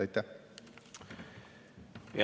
Aitäh!